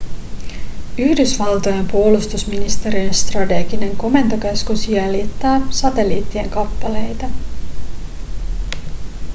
yhdysvaltojen puolustusministeriön strateginen komentokeskus jäljittää satelliittien kappaleita